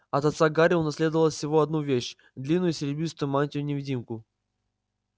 от отца гарри унаследовал всего одну вещь длинную серебристую мантию-невидимку